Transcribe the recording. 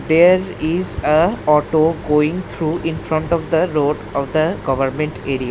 There is a auto going through in front of the road of the government area.